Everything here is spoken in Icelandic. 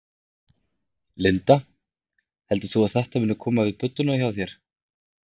Linda: Heldur þú að þetta muni koma við budduna hjá þér?